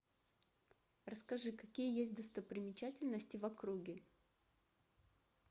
расскажи какие есть достопримечательности в округе